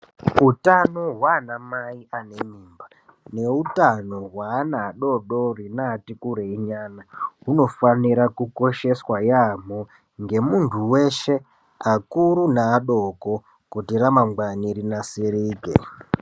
Hutano hwaanamai ane mimba ,neutano hweana adodori neati kurei nyana, hunofanira kukosheswa yaamho ngemuntu weshe, akuru neadoko kuti ramangwani rinasirike.